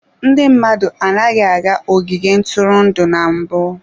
Ndị mmadụ anaghị aga ogige ntụrụndụ na mbụ.